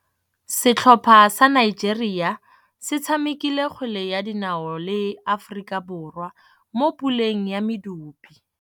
Setlhopha sa Nigeria se tshamekile kgwele ya dinaô le Aforika Borwa mo puleng ya medupe.